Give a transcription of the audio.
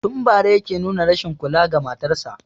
Tun bara yake nuna rashin kula ga matan sa